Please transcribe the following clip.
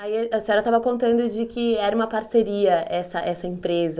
Aí a senhora estava contando de que era uma parceria essa essa empresa.